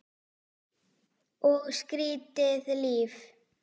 Og skrýtið líf.